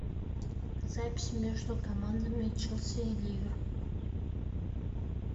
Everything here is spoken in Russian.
запись между командами челси и ливер